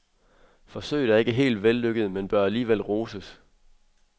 Forsøget er ikke helt vellykket, men bør alligevel roses.